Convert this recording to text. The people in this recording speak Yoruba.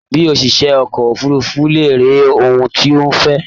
Bi òṣìṣẹ́ ọkọ̀ òfurufu léèrè ohun tó o fẹ́!